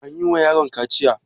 Anyi wa yaron kaciya?